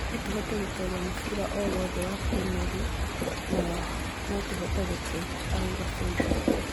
No tũhote gũtooria mũbira o wothe wa Premier League na no tũhote gũte", araũga Soilder.